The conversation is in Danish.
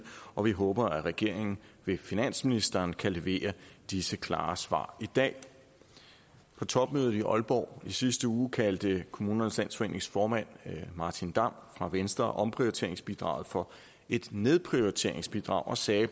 og vi håber at regeringen ved finansministeren kan levere disse klare svar i dag på topmødet i aalborg i sidste uge kaldte kommunernes landsforenings formand martin damm fra venstre omprioriteringsbidraget for et nedprioriteringsbidrag og sagde